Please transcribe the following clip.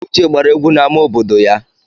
Uche gbara egwu n'amá obodo ya.